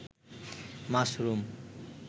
mushroom